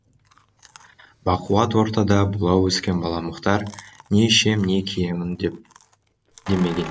бақуат ортада бұла өскен бала мұхтар не ішем не киемін демеген